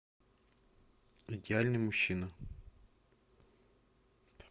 идеальный мужчина